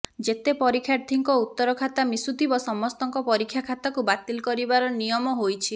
ଯେତେ ପରୀକ୍ଷାର୍ଥୀଙ୍କ ଉତ୍ତର ଖାତା ମିଶୁଥିବ ସମସ୍ତଙ୍କ ପରୀକ୍ଷା ଖାତାକୁ ବାତିଲ କରିବାର ନିୟମ ହୋଇଛି